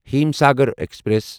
Himsagar express